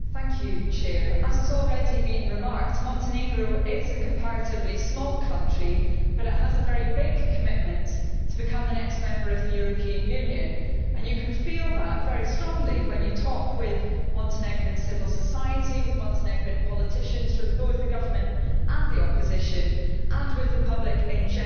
Mr President, as has already been remarked, Montenegro is a comparatively small country but it has a very big commitment to becoming the next member of the European Union, and you can feel that very strongly when you talk with Montenegrin civil society, with Montenegrin politicians from both the government and the opposition, and with the public in general.